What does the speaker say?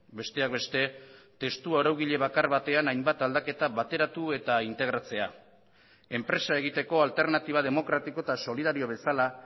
besteak beste testu araugile bakar batean hainbat aldaketa bateratu eta integratzea enpresa egiteko alternatiba demokratiko eta solidario bezala